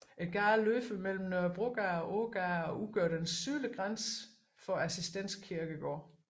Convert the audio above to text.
Gaden løber mellem Nørrebrogade og Ågade og udgør den sydlige grænse for Assistens Kirkegård